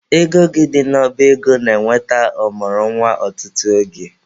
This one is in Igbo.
Ego gị dị n'ọba ego na-enweta ọ mụrụ nwa ọtụtụ oge.